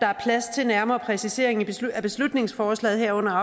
er plads til nærmere præciseringer i beslutningsforslaget herunder